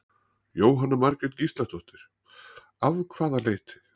Jóhanna Margrét Gísladóttir: Af hvaða leyti?